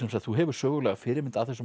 þú hefur sögulega fyrirmynd að þessum manni